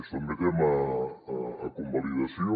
sotmetem a convalidació